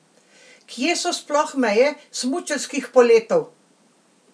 Kje so sploh meje smučarskih poletov?